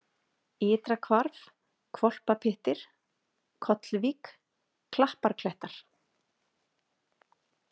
Ytra-Hvarf, Hvolpapyttir, Kollvík, Klapparklettar